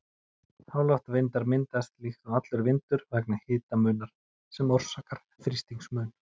Háloftavindar myndast líkt og allur vindur vegna hitamunar, sem orsakar þrýstingsmun.